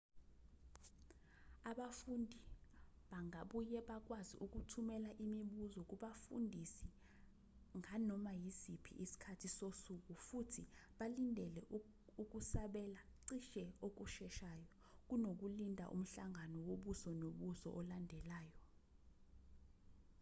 abafunda bangabuye bakwazi ukuthumela imibuzo kubafundisi nganoma isiphi isikhathi sosuku futhi balindele ukusabela cishe okusheshayo kunokulinda umhlangano wobuso nobuso olandelayo